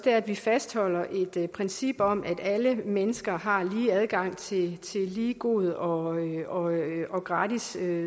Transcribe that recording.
er at vi fastholder et princip om at alle mennesker har lige adgang til lige god og og gratis